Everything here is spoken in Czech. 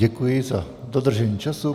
Děkuji za dodržení času.